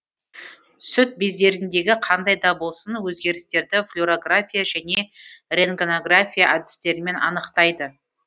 сүт бездеріндегі қандай да болсын өзгерістерді флюрография және рентгенография әдістерімен анықтайды